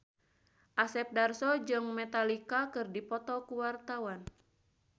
Asep Darso jeung Metallica keur dipoto ku wartawan